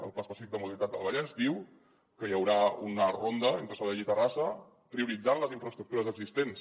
el pla específic de mobilitat del vallès diu que hi haurà una ronda entre sabadell i terrassa prioritzant les infraestructures existents